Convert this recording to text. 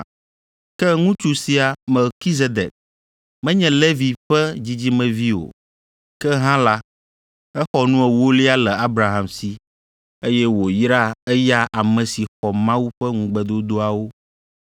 Ke ŋutsu sia, Melkizedek, menye Levi ƒe dzidzimevi o, ke hã la, exɔ nu ewolia le Abraham si, eye wòyra eya ame si xɔ Mawu ƒe ŋugbedodoawo